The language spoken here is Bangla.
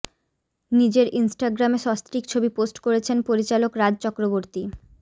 নিজের ইনস্টাগ্রামে সস্ত্রীক ছবি পোস্ট করেছেন পরিচালক রাজ চক্রবর্তী